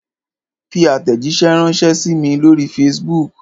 Fi àtẹ̀jíṣẹ́ ránṣẹ sí mí lóri facebook!